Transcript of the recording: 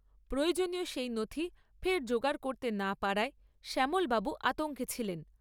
প্রয়োজনীয় সেই নথি ফের জোগাড় করতে না পারায় শ্যামলবাবু আতঙ্কে ছিলেন।